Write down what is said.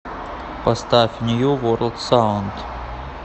поставь нью ворлд саунд